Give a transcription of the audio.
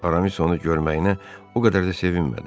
Aramis onu görməyinə o qədər də sevinmədi.